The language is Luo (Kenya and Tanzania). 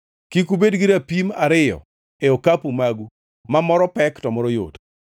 Kik ubed gi rapim ariyo e okapu magu mamoro pek to moro yot.